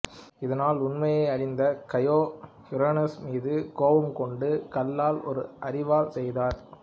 இதனால் உண்மையை அறிந்த கையா யுரேனசு மீது கோபம் கொண்டு கல்லால் ஒரு அரிவாள் செய்தார்